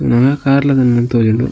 ನನ ಕಾರ್ಲದ ಒಂದೆನ್ ತೂವೆರೆ ಉಂಡು.